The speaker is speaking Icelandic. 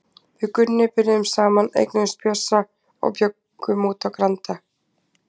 Við Gunni byrjuðum saman, eignuðumst Bjössa og bjuggum úti á Granda.